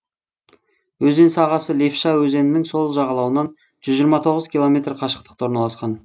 өзен сағасы лепша өзенінің сол жағалауынан жүз жиырма тоғыз километр қашықтықта орналасқан